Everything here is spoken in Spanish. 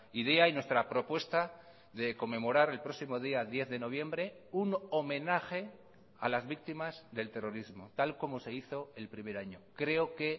idea y nuestra propuesta de conmemorar el próximo día diez de noviembre un homenaje a las víctimas del terrorismo tal como se hizo el primer año creo que